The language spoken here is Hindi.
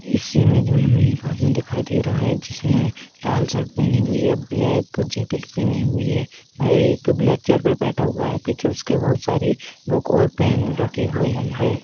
इस इमेज में हमें एक आदमी दिखाई दे रहा है जिसने लाल शर्ट पहनी हुई है ब्लैक जैकेट पहनी हुई है मैं एक ब्लैक चेयर पर बैठा हुआ है पीछे उसके बहुत सारी बुक और पैन रखी हुई है।